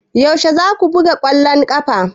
Yaushe za ku buga ƙwallon ƙafa?